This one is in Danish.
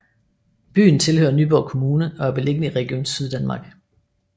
Byen tilhører Nyborg Kommune og er beliggende i Region Syddanmark